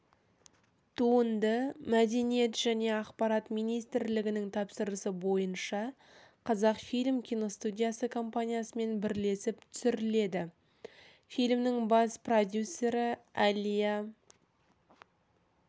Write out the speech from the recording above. туынды мәдениет және ақпарат министрлігінің тапсырысы бойынша қазақфильм киностудиясы компаниясымен бірлесіп түсіріледі фильмнің бас продюсері әлия